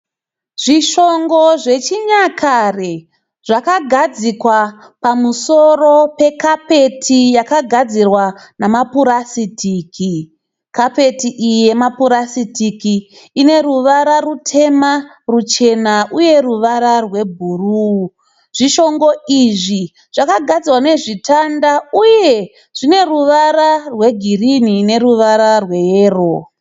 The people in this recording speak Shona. Zvishongo zvechinyakare zvakagadzikwa pamusoro pekapeti yakagadzirwa nemapurasitiki. Kapeti iyi yemapurasitiki ineruvara rutema, ruchena uye rwe bhuruu. Zvishongo izvi zvakagadzirwa nezvitanda uye zvineruvara rwegirini neruvara rwe yero.